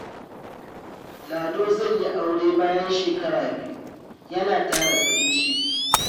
Lado zai yi aure bayan shekaru biyu yana tara kuɗin shiri.